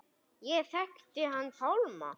Ég þekkti hann Pálma.